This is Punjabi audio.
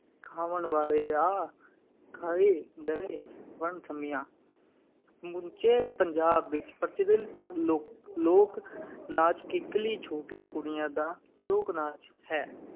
ਖਾਵਣ ਵਾਲੇ ਆ ਖਾਏ ਗਏ, ਵਣ ਸੰਮੀਆਂ ਸਮੁੱਚੇ ਪੰਜਾਬ ਵਿੱਚ ਪ੍ਰਚਲਿਤ ਲੋ ਲੋਕ-ਨਾਚ ਕਿੱਕਲੀ ਛੋਟੀਆਂ ਕੁੜੀਆਂ ਦਾ ਲੋਕ-ਨਾਚ ਹੈ।